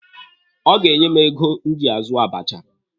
Ọ ga-enye m ego m ji azụ abacha.